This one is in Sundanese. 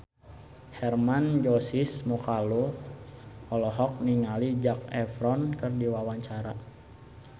Hermann Josis Mokalu olohok ningali Zac Efron keur diwawancara